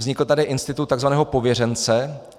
Vznikl tady institut tzv. pověřence.